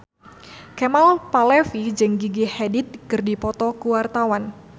Kemal Palevi jeung Gigi Hadid keur dipoto ku wartawan